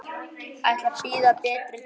Ætla að bíða betri tíma.